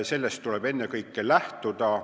Sellest tuleb ennekõike lähtuda.